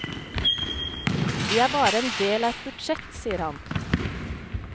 Vi er bare en del av et budsjett, sier han.